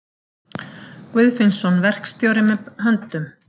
Guðfinnsson verkstjóri með höndum.